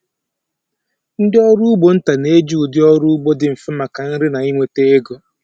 Ndị ọrụ ugbo nta na-eji ụdị ọrụ ugbo dị mfe maka nri na inweta ego.